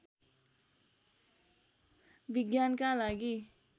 विज्ञानका लागि